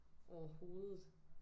Overhovedet